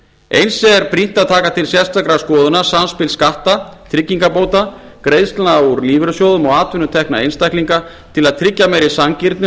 eins er brýnt að taka til sérstakrar skoðunar samspil skatta tryggingabóta greiðslna úr lífeyrissjóðum og atvinnutekna einstaklinga til að tryggja meiri sanngirni